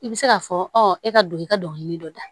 I bɛ se k'a fɔ e ka don i ka dɔnkili dɔ da